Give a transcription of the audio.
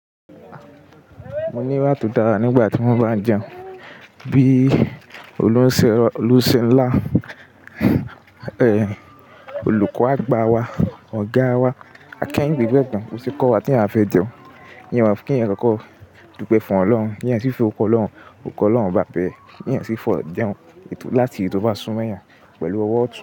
Mo ní ìwà tó dára nígbà tí mo bá ń jẹun. Bí olúṣẹ ńlá, olùkọ́ àgbà wa, ọ̀gá wa, akẹhinde gbà ẹ̀gbọ́n. Ó ti kọ́ wa tí a bá fẹ́ jẹun Nìyẹn wá kí èèyàn kókó dúpẹ́ fún Ọlọ́run. Kí èèyàn sì fi ọkọ Ọlọ́run, òkú Ọlọ́run bá bẹ. Nìyẹn sì fọ̀ jẹun láti ìrẹ́ti tóbá súnmọ́ ẹ̀yà pẹ̀lú ọwọ́ ọ̀tún.